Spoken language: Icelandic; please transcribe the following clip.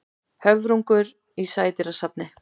Höfrungur í sædýrasafni.